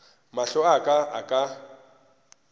mahlo a ka a ka